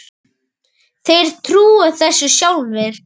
Þeir trúa þessu sjálfir